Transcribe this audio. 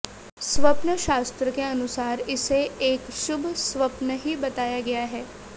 स्वप्न शास्त्र के अनुसार इसे एक शुभ स्वप्न ही बताया गया है